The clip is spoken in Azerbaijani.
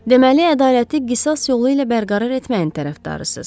Deməli, ədaləti qisas yolu ilə bərqərar etməyin tərəfdarısınız.